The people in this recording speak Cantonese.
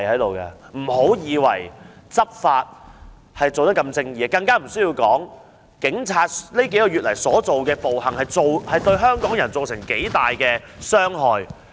別以為執法的一定正義，警察在過去數月的暴行，已不知對香港人造成多大傷害。